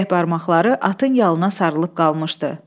Titrək barmaqları atın yalına sarılıb qalmışdı.